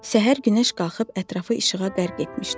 Səhər günəş qalxıb ətrafı işığa dərq etmişdi.